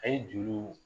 A' ye juru